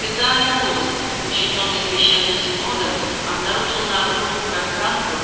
официальный розыск учинённый священным синодом обнаружил на огромных пространствах